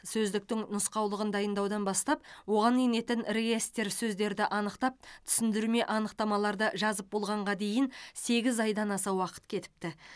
сөздіктің нұсқаулығын дайындаудан бастап оған енетін реестр сөздерді анықтап түсіндірме анықтамаларды жазып болғанға дейін сегіз айдан аса уақыт кетіпті